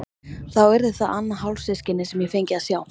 Þá yrði það annað hálfsystkinið sem ég fengi að sjá.